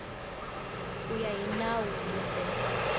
ku ya hi nawu kumbe